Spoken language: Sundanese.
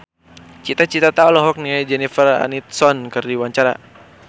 Cita Citata olohok ningali Jennifer Aniston keur diwawancara